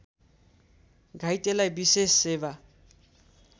घाइतेलाई विशेष सेवा